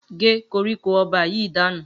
Gé koríko o̩ba yìí dànù!